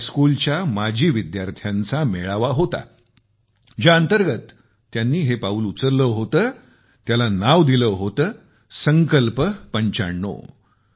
high school हा त्याच्या माजी विद्यार्थ्यांचा मेळावा होता ज्यांतर्गत त्यांनी हे पाऊल उचलले होते आणि त्याला नाव दिले होते संकल्प 95